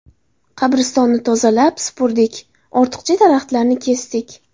Qabristonni tozalab supurdik, ortiqcha daraxtlarni kesdik.